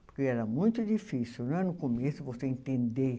Porque era muito difícil, não é, no começo você entender.